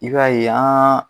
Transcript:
I b'a ye an